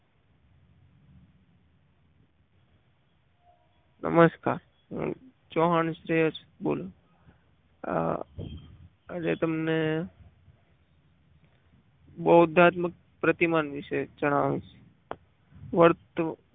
નમસ્કાર હું ચૌહાણ શ્રેયસ બોલું છું. આ આજે તમન બહુધાત્મક પ્રતિમાન વિશે જણાવીશ વર્તણુક